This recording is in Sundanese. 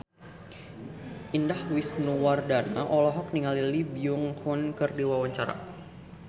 Indah Wisnuwardana olohok ningali Lee Byung Hun keur diwawancara